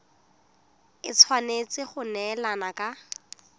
e tshwanetse go neelana ka